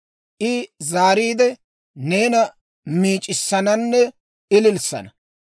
I zaariide, neena miic'issananne ililissana.